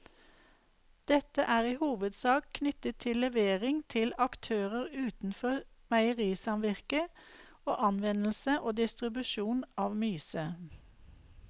Dette er i hovedsak knyttet til levering til aktører utenfor meierisamvirket og anvendelse og distribusjon av myse.